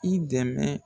I dɛmɛ